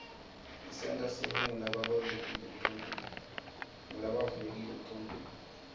isenta sibe ngulabavulekile enqcondvweni